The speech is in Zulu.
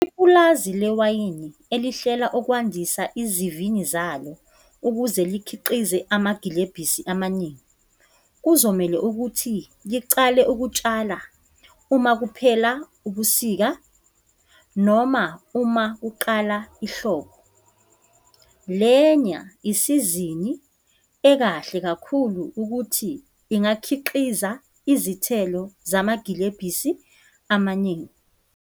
Ipulazi lewayini elihlela okwandisa izivini zalo ukuze likhiqize amagilebhisi amaningi, kuzomele ukuthi licale ukutshala uma kuphela ubusika noma uma kuqala ihlobo. Lena isizini ekahle kakhulu ukuthi ingakhiqiza izithelo zamagilebhisi amaningi.